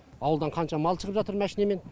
ауылдан қанша мал шығып жатыр машинамен